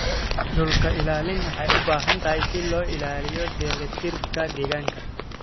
Dhulka ilaalin waxay u baahan tahay si loo ilaaliyo dheelitirka deegaanka.